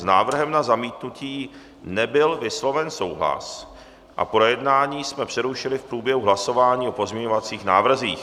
S návrhem na zamítnutí nebyl vysloven souhlas a projednávání jsme přerušili v průběhu hlasování o pozměňovacích návrzích.